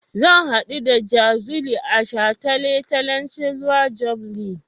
Zan haɗu da Jazuli a shataletalen silver jubilee.